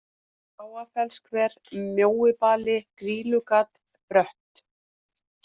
Háafellshver, Mjóibali, Grýlugat, Brött